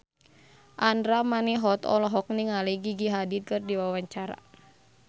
Andra Manihot olohok ningali Gigi Hadid keur diwawancara